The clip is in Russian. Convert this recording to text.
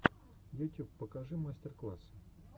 ютюб покажи мастер классы